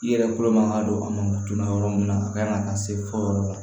I yɛrɛ bolo man ka don a ma joona yɔrɔ min na a kan ka taa se fɔ yɔrɔ la